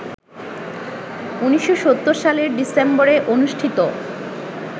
১৯৭০ সালের ডিসেম্বরে অনুষ্ঠিত